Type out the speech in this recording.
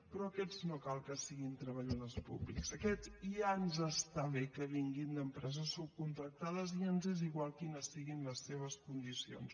però aquests no cal que siguin treballadors públics aquests ja ens està bé que vinguin d’empreses subcontractades i ens és igual quines siguin les seves condicions